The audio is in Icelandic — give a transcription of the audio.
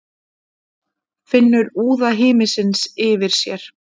Finnur úða himinsins yfir sér.